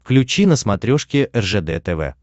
включи на смотрешке ржд тв